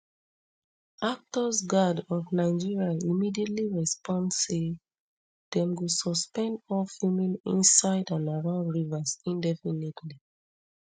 actors guild of nigeria immediately respond say dem go suspend all filming inside and around rivers indefinitely